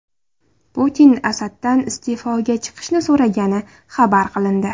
Putin Asaddan iste’foga chiqishni so‘ragani xabar qilindi.